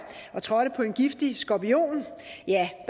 og trådte på en giftig skorpion